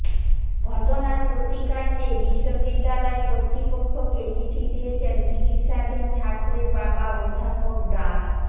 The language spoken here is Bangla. ঘটনার প্রতিকার চেয়ে বিশ্ববিদ্যালয় কর্তৃপক্ষকে চিঠি দিয়েছেন চিকিৎসাধীন ছাত্রের বাবা অধ্যাপক ডা